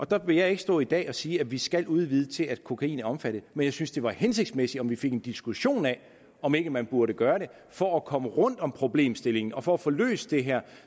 der vil jeg ikke stå i dag og sige at vi skal udvide til at kokain er omfattet men jeg synes at det var hensigtsmæssigt om vi fik en diskussion af om ikke man burde gøre det for at komme rundt om problemstillingen og for at få løst det her